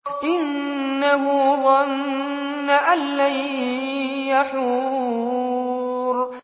إِنَّهُ ظَنَّ أَن لَّن يَحُورَ